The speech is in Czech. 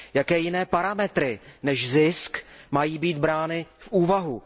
Jaké jiné parametry než zisk mají být brány v úvahu?